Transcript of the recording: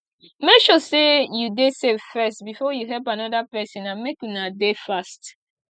make sure say you de safe first before you help another persin and make una de fast